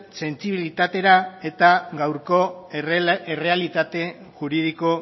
sentsibilitatera eta gaurko errealitate juridiko